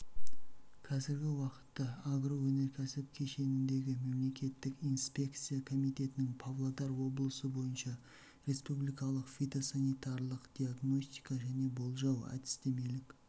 қазіргі уақытта агроөнеркәсіп кешеніндегі мемлекеттік инспекция комитетінің павлодар облысы бойынша республикалық фитосанитарлық диагностика және болжау әдістемелік